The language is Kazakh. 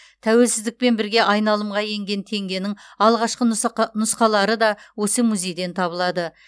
тәуелсіздікпен бірге айналымға енген теңгенің алғашқы нұсқалары да осы музейден табылады